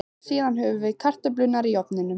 Síðan höfum við kartöflurnar í ofninum í